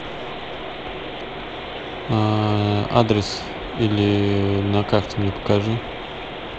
а адрес или на карте мне покажи